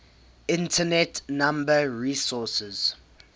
internet number resources